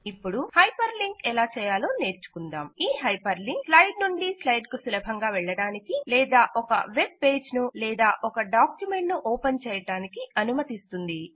ఇపుడు hyper link ఎలాచేయాలో నేర్చుకుందాం ఈ హైపర్ లింక్ స్లైడ్ నుండి స్లైడ్ కు సులభంగా వెళ్ళడానికి లేదా ఒక వెబ్ పేజ్ ను లేదా ఒక డాక్యుమెంట్ ను ఓపెన్ చేయడానికి అనుమతిస్తుంది